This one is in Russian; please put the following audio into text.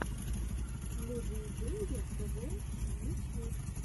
люди и деньги тэвэ ютьюб